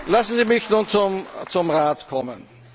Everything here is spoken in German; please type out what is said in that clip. Lassen Sie mich nun zum Rat kommen.